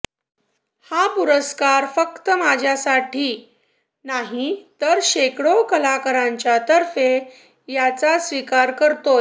हा पुरस्कार फक्त माझ्यासाठी नाही तर शेकडो कलाकरांच्यातर्फे याचा स्वीकार करतोय